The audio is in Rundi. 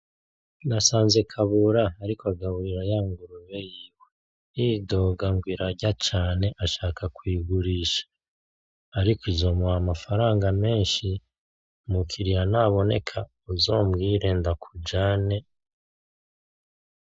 Nasanze kabura ariko agaburira yanguube yiwe yidoga ngo irarya cane agomba kuyigurisha. Ariko azoronka amafaranga menshi, umukiriya niyaboneka uzombwire ndakujane